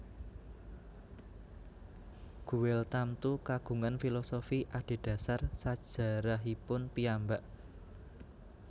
Guel tamtu kagungan filosofi adhedhasar sajarahipun piyambak